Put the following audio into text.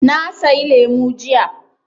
Na sayi lemu jiya.